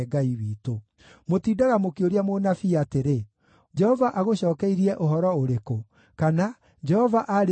Mũtindaga mũkĩũria mũnabii atĩrĩ: ‘Jehova agũcookeirie ũhoro ũrĩkũ?’ kana, ‘Jehova aarĩtie atĩa?’